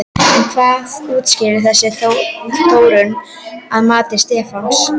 En hvað útskýrir þessa þróun að mati Stefáns?